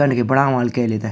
कणके बणा ह्वाल कैल येथे।